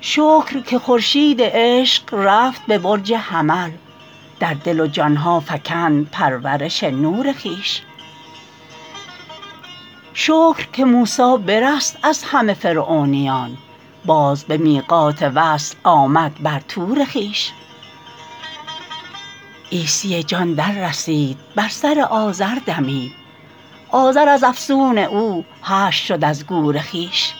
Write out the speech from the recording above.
شکر که خورشید عشق رفت به برج حمل در دل و جان ها فکند پرورش نور خویش شکر که موسی برست از همه فرعونیان باز به میقات وصل آمد بر طور خویش عیسی جان دررسید بر سر عازر دمید عازر از افسون او حشر شد از گور خویش